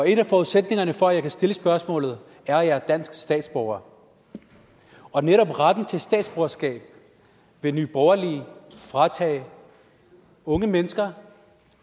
en af forudsætningerne for at jeg kan stille spørgsmålet er at jeg er dansk statsborger og netop retten til statsborgerskab vil nye borgerlige fratage unge mennesker